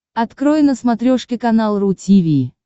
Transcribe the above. открой на смотрешке канал ру ти ви